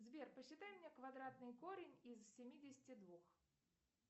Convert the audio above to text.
сбер посчитай мне квадратный корень из семидесяти двух